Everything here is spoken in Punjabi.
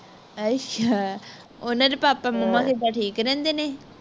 ਅੱਛਾ ਉਨ੍ਹਾਂ ਦੇ papa momma ਕਿੱਦਾਂ ਠੀਕ ਰਹਿੰਦੇ ਨੇ